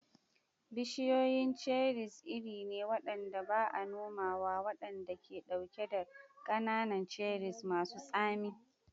Bishiyoyin cherries iri ne waɗanda ba a nomawa waɗanda ke ɗauke da ƙanana, cherries masu tsami.